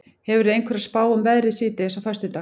hefurðu einhverja spá um veðrið síðdegis á föstudag